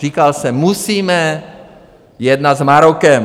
Říkal jsem, musíme jednat s Marokem.